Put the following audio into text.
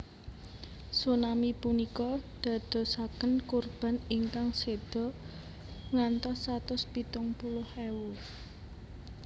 Tsunami punika dadosaken kurban ingkang seda ngantos satus pitung puluh ewu